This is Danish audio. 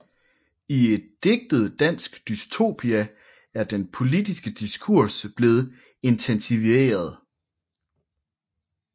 I et digtet dansk dystopia er den politiske diskurs blevet intensiveret